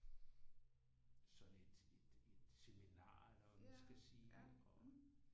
Sådan et et seminar eller hvad man skal sige og